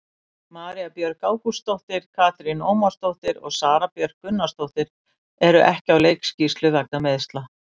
María Björg Ágústsdóttir, Katrín Ómarsdóttir og Sara Björk Gunnarsdóttir eru ekki á leikskýrslu vegna meiðsla.